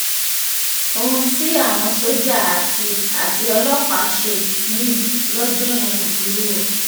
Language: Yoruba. ohun tí àwọn sójà àti àti ọlọ́pàá ṣe níbí lọ́jọ́ yẹn burú o